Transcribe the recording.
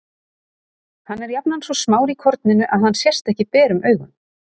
Hann er jafnan svo smár í korninu að hann sést ekki berum augum.